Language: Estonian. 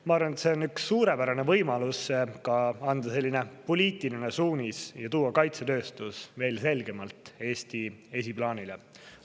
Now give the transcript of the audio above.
Ma arvan, et see on üks suurepärane võimalus anda poliitiline suunis ja tuua kaitsetööstus veel selgemalt Eestis esiplaanile.